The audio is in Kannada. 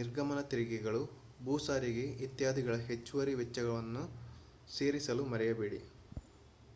ನಿರ್ಗಮನ ತೆರಿಗೆಗಳು ಭೂ ಸಾರಿಗೆ ಇತ್ಯಾದಿಗಳ ಹೆಚ್ಚುವರಿ ವೆಚ್ಚಗಳನ್ನು ಸೇರಿಸಲು ಮರೆಯಬೇಡಿ